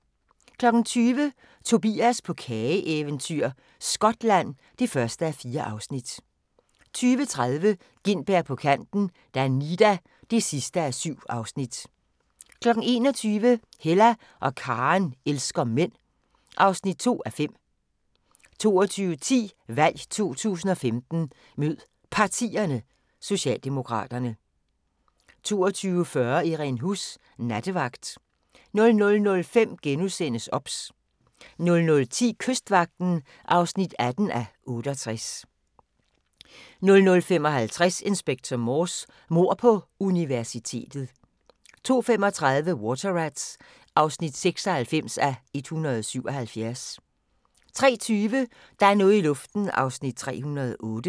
20:00: Tobias på kageeventyr – Skotland (1:4) 20:30: Gintberg på kanten - Danida (7:7) 21:00: Hella og Karen elsker mænd (2:5) 22:10: VALG 2015 Mød Partierne: Socialdemokraterne 22:40: Irene Huss: Nattevagt 00:05: OBS * 00:10: Kystvagten (18:68) 00:55: Inspector Morse: Mord på universitetet 02:35: Water Rats (96:177) 03:20: Der er noget i luften (308:320)